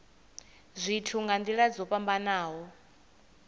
zwithu nga nila dzo fhambanaho